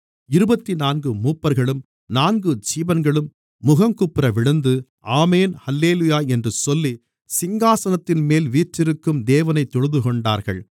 இருபத்துநான்கு மூப்பர்களும் நான்கு ஜீவன்களும் முகங்குப்புறவிழுந்து ஆமென் அல்லேலூயா என்று சொல்லி சிங்காசனத்தின்மேல் வீற்றிருக்கும் தேவனைத் தொழுதுகொண்டார்கள்